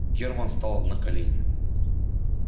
германн стал на колени